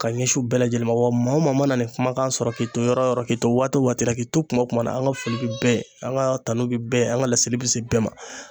Ka ɲɛsin u bɛɛ lajɛlen ma .Wa maa wo maa mana nin kumakan sɔrɔ k'i to yɔrɔ yɔrɔ k'i to waati wo waati la, k'i to kuma wo kuma na ,an ka foli be bɛɛ ye an ka kanu be bɛɛ ye, an ka laseli be se bɛɛ ma.